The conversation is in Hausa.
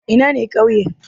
Ina ne ƙauye?